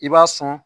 I b'a sɔn